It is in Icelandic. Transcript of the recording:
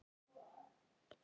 Ég les þá kannski seinna.